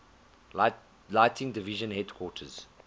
lighting division headquarters